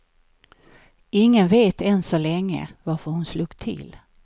Ingen vet än så länge varför hon slog till.